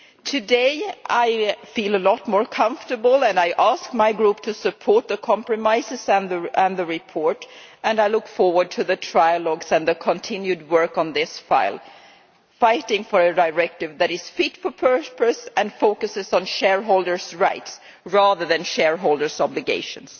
Today I feel a lot more comfortable, and I ask my group to support the compromises and the report, and I look forward to the trilogues and the continued work on this file, fighting for a directive that is fit for purpose and focuses on shareholders' rights rather than shareholders' obligations.